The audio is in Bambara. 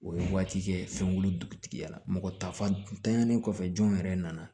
O ye waati kɛ fɛnw dugutigiyala mɔgɔ ta fan tanyalen kɔfɛ jɔn yɛrɛ nana